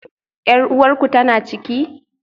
Yar uwarku tana ciki?